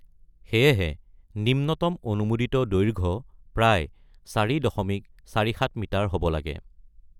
সেয়েহে নিম্নতম অনুমোদিত দৈৰ্ঘ্য প্ৰায় ৪.৪৭ মিটাৰ হ'ব লাগে।